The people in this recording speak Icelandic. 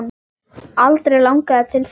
Aldrei langað til þess.